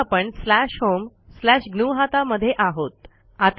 आता आपण slash home slash ग्नुहता मध्ये आहोत